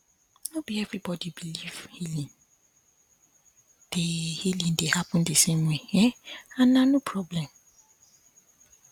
no be everybody believe healing dey healing dey happen the same way um and na no problem